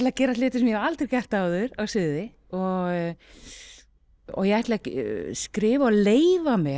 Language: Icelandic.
að gera hluti sem ég hef aldrei gert áður á sviði og ég ætla að skrifa og leyfa mér